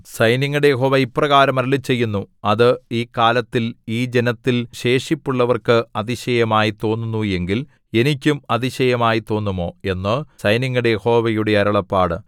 സൈന്യങ്ങളുടെ യഹോവ ഇപ്രകാരം അരുളിച്ചെയ്യുന്നു അത് ഈ കാലത്തിൽ ഈ ജനത്തിൽ ശേഷിപ്പുള്ളവർക്ക് അതിശയമായി തോന്നുന്നു എങ്കിൽ എനിക്കും അതിശയമായി തോന്നുമോ എന്ന് സൈന്യങ്ങളുടെ യഹോവയുടെ അരുളപ്പാട്